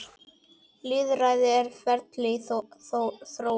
Lýðræði er ferli í þróun.